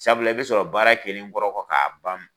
Sabula i bɛ sɔrɔ baara kɛlen kɔrɔ kɔ k'a ban